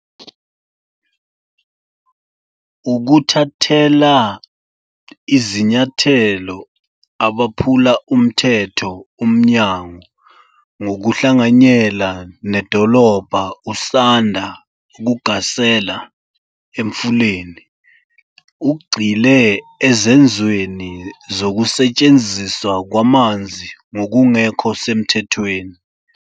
Ukuthathela izinyathelo abaphula umthetho Umnyango ngokuhlanganyela nedolobha usanda kugasela eMfuleni, ugxile ezenzweni zokusetshenziswa kwamanzi ngokungekho semthethweni.